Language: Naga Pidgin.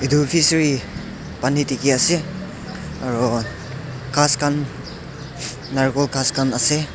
etu fishery pani dekhi ase aru ghas khan narkol ghas khan ase.